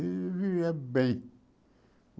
E eu bem.